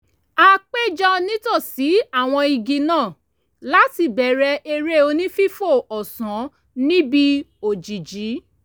a péjọ nítòsí àwọn igi náà láti bẹ̀rẹ̀ eré onífífò ọ̀sán níbi òjìjí